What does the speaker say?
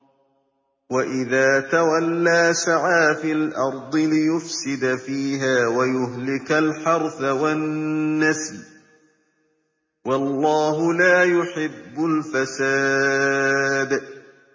وَإِذَا تَوَلَّىٰ سَعَىٰ فِي الْأَرْضِ لِيُفْسِدَ فِيهَا وَيُهْلِكَ الْحَرْثَ وَالنَّسْلَ ۗ وَاللَّهُ لَا يُحِبُّ الْفَسَادَ